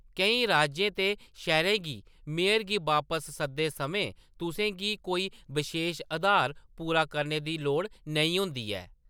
केईं राज्यें ते शैह्‌‌‌रें गी मेयर गी बापस सददे समें तुसें गी कोई बशेश आधार पूरा करने दी लोड़ नेईं होंदी ऐ।